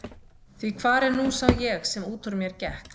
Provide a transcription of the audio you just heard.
Því hvar er nú sá ég sem út úr mér gekk?